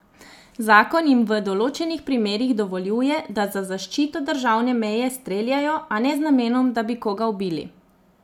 Zakon jim v določenih primerih dovoljuje, da za zaščito državne meje streljajo, a ne z namenom, da bi koga ubili.